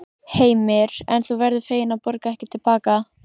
Heimir: En þú verður fegin að borga ekki til baka?